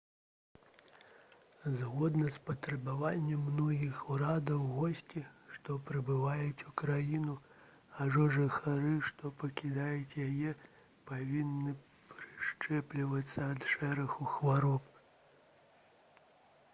згодна з патрабаваннем многіх урадаў госці што прыбываюць у краіну або жыхары што пакідаюць яе павінны прышчэплівацца ад шэрагу хвароб